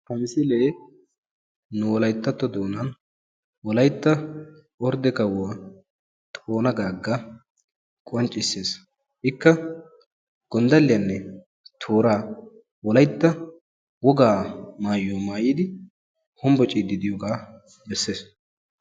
Ha misilee nu wolayttatto doonaa nu wolaytta ordde kawuwaa xoona gagga qonccisses. ikka gonddaliyaanne toora wolaytta wogaa maayuwaa maayidi hombociidi diyoogaa bessees.